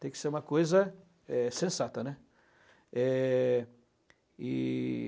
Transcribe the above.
Tem que ser uma coisa é sensata, né. É... e